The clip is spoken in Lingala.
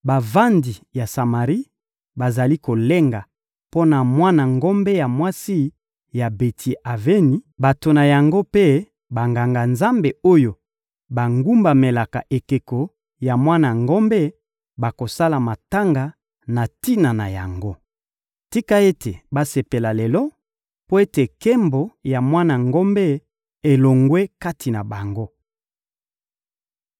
Bavandi ya Samari bazali kolenga mpo na mwana ngombe ya mwasi ya Beti-Aveni; bato na yango mpe Banganga-Nzambe oyo bagumbamelaka ekeko ya mwana ngombe bakosala matanga na tina na yango. Tika ete basepela lelo mpo ete nkembo ya mwana ngombe elongwe kati na bango.